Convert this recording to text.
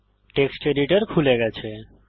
text editor খুলে গেছে